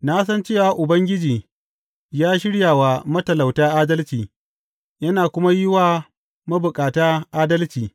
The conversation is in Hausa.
Na san cewa Ubangiji ya shirya wa matalauta adalci yana kuma yi wa mabukata adalci.